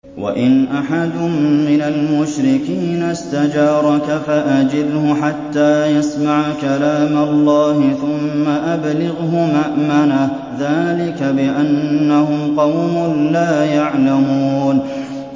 وَإِنْ أَحَدٌ مِّنَ الْمُشْرِكِينَ اسْتَجَارَكَ فَأَجِرْهُ حَتَّىٰ يَسْمَعَ كَلَامَ اللَّهِ ثُمَّ أَبْلِغْهُ مَأْمَنَهُ ۚ ذَٰلِكَ بِأَنَّهُمْ قَوْمٌ لَّا يَعْلَمُونَ